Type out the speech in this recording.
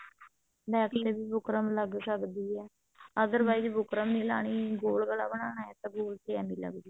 back ਤੇ ਵੀ buckram ਲੱਗ ਸਕਦੀ ਹੈ other wise ਬੁਕਰਮ ਨੀ ਲਾਉਣੀ ਗੋਲ ਗਲਾ ਬਣਾਉਣਾ ਤਾਂ ਗੋਲ ਚ ਆਵੀਂ ਲੱਗਜੂ